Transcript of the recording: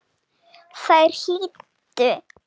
Þær hlýddu.